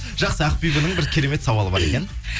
жақсы ақбибінің бір керемет сауалы бар екен